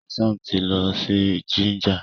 Hassan tí lọ si Jinja.